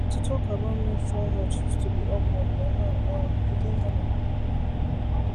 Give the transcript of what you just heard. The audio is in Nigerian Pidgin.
to talk about menstrual health used to be awkward but now um e dey normal